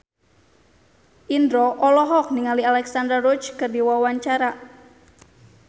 Indro olohok ningali Alexandra Roach keur diwawancara